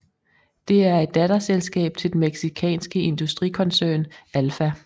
Det er et datterselskab til den mexikanske industrikoncern Alfa